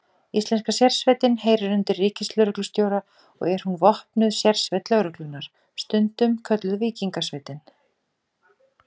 Íslenska sérsveitin heyrir undir ríkislögreglustjóra og er hún vopnuð sérsveit lögreglunnar, stundum kölluð Víkingasveitin.